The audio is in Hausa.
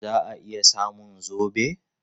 Za a iya samun zobe?